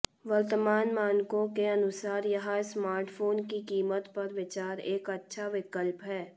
वर्तमान मानकों के अनुसार यह स्मार्टफोन की कीमत पर विचार एक अच्छा विकल्प है